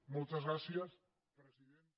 moltes gràcies presidenta